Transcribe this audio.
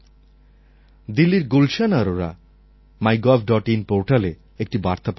দিল্লির গুলশন অরোরা mygovin পোর্টালে একটি বার্তা পাঠিয়েছেন